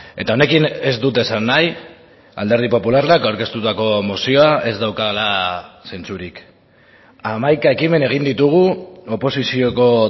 eta honekin ez dut esan nahi alderdi popularrak aurkeztutako mozioa ez daukala zentzurik hamaika ekimen egin ditugu oposizioko